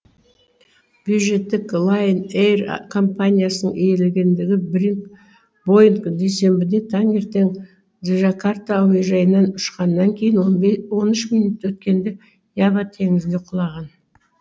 бюджеттік лайнэйр компаниясының иелігіндегі боинг дүйсенбіде таңертең джакарта әуежайынан ұшқаннан кейін он үш минут өткенде ява теңізіне құлаған